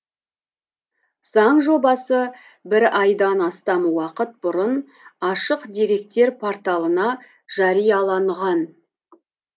заң жобасы бір айдан астам уақыт бұрын ашық деректер порталына жарияланған